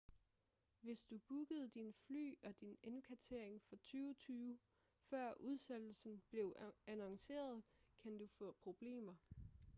hvis du bookede dine fly og din indkvartering for 2020 før udsættelsen blev annonceret kan du få problemer